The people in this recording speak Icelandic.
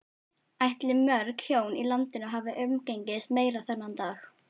Ætli mörg hjón í landinu hafi umgengist meira þennan dag?